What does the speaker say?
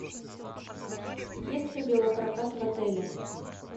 есть ли велопрокат в отеле